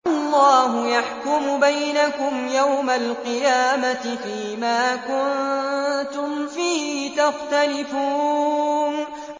اللَّهُ يَحْكُمُ بَيْنَكُمْ يَوْمَ الْقِيَامَةِ فِيمَا كُنتُمْ فِيهِ تَخْتَلِفُونَ